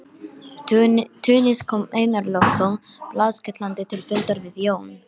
Túnis kom Einar Loftsson blaðskellandi til fundar við Jón